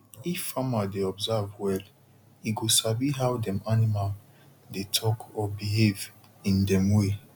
if farmer dey observe well e go sabi how dem animal dey talk or behave in dem way